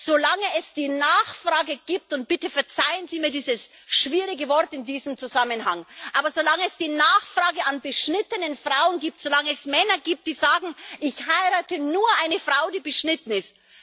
Solange es die Nachfrage gibt und bitte verzeihen Sie mir dieses schwierige Wort in diesem Zusammenhang aber solange es die Nachfrage nach beschnittenen Frauen gibt, solange es Männer gibt, die sagen Ich heirate nur eine Frau, die beschnitten ist!,